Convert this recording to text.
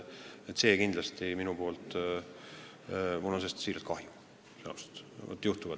Sellest on mul tõesti kahju.